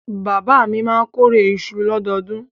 Bàbá mi máa kórè iṣu lọ́dọọdún.